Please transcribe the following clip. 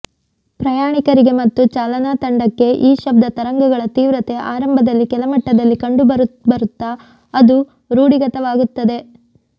ಪ್ರಯಾಣಿಕರಿಗೆ ಮತ್ತು ಚಾಲನಾ ತಂಡಕ್ಕೆ ಈ ಶಬ್ದ ತರಂಗಗಳ ತೀವ್ರತೆ ಆರಂಭದಲ್ಲಿ ಕೆಲಮಟ್ಟದಲ್ಲಿ ಕಂಡರೂ ಬರಬರುತ್ತಾ ಅದು ರೂಢಿಗತವಾಗುತ್ತದೆ